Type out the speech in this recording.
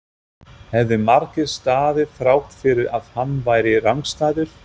hefði markið staðið þrátt fyrir að hann væri rangstæður?